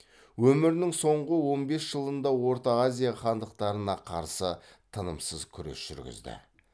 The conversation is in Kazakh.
өмірінің соңғы он бес жылында орта азия хандықтарына қарсы тынымсыз күрес жүргізді